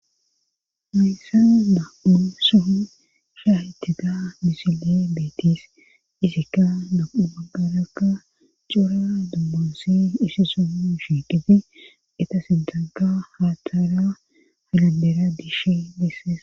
Meyssas da7un so shaahytega misile beetis izikka do7u maggarakka cura dummunsi isi som shiiqiti eta sidaga haattaara haladera diishe desses